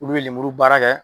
Olu bɛ lemuru baara kɛ.